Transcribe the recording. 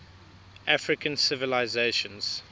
african civilizations